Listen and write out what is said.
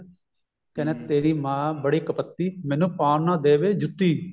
ਕਹਿੰਦਾ ਤੇਰੀ ਮਾਂ ਬੜੀ ਕਪੱਤੀ ਮੈਨੂੰ ਪਾਉਣ ਨਾ ਦੇਵੇ ਜੁੱਤੀ